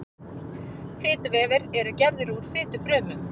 fituvefir eru gerðir úr fitufrumum